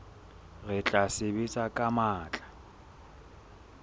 re tla sebetsa ka matla